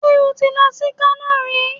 Ṣé o ti lọ sí Kano rí?